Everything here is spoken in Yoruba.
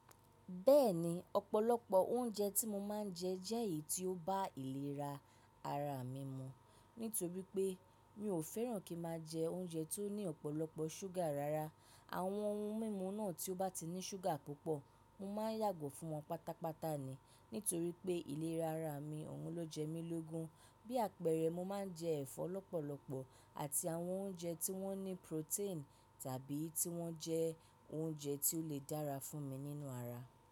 Bẹ́ẹ̀ni, ọ̀pọ̀lọpọ̀ oúnjẹ tí mo máa ń jẹ jẹ́ èyí tí ó bá ìlera ara mi mu. Nítorípé mi ò fẹ́ràn kí máa jẹ oúnjẹ tó ní ọ̀pọ̀lọpọ̀ ṣúgà rara. Àwọn ohun mímu náà tí ó bá ti ní ṣúgà púpọ̀, mo máa yàgò fún wọn pátápátá ni. Nítorípé ìlera ara mí, òun ló jẹ́ mí lógún. Bí àpẹẹrẹ, mo máa ń jẹ ẹ̀fọ́ lọ́pọ̀lọpọ̀ àti àwọn oúnjẹ tí wọ́n ní protein tàbí tí wọ́n jẹ́ óúnjẹ tí ó le dára fún mí nínú ara.